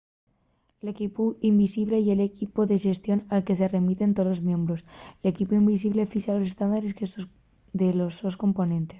el equipu invisible” ye l'equipu de xestión al que se remiten tolos miembros. l'equipu invisible fixa los estándares de los sos componentes